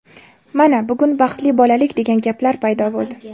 Mana, bugun baxtli bolalik degan gaplar paydo bo‘ldi.